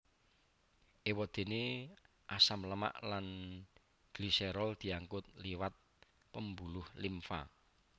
Éwadéné asam lemak lan gliserol diangkut liwat pembuluh limfa